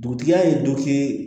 Dugutigi y'a ye